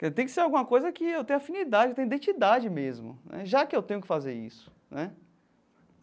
Que tem que ser alguma coisa que eu tenha afinidade, eu tenha identidade mesmo né, já que eu tenho que fazer isso né.